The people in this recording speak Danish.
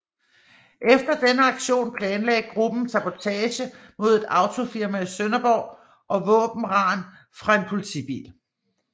Efter denne aktion planlagde gruppen sabotage mod et autofirma i Sønderborg og våbenran fra en politibil